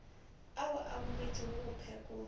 ao a boletšwego go phekola